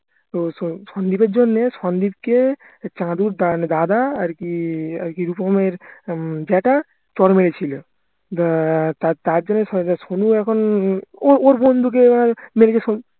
তো সন্দীপের জন্যে সন্দীপকে চাঁদুর দাদা আরকি আরকি রূপমের উম জেঠা চড় মেরেছিলো তার জন্য সোনু এখন ওর বন্ধুকে